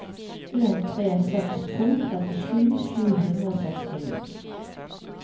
en tre seks to trettisju sju hundre og sekstini